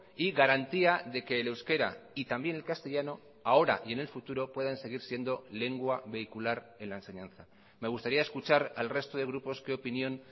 y garantía de que el euskera y también el castellano ahora y en el futuro puedan seguir siendo lengua vehicular en la enseñanza me gustaría escuchar al resto de grupos qué opinión